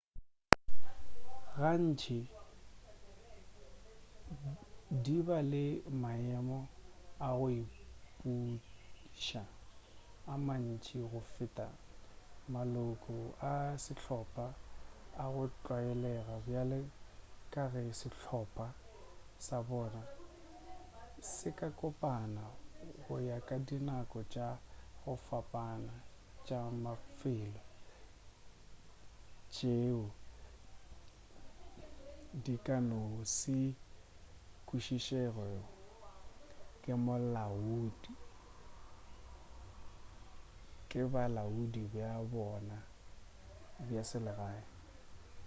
gantši di ba le maemo a go ipuša a mantši go feta maloko a sehlopa a go tlwaelega bjale ka ge sehlopa sa bona se ka kopana go ya ka dinako tša go fapana tša mafelo tšeo di ka no se kwešišegego ke bolaodi bja bona bja selegae